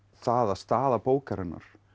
það að staða bókarinnar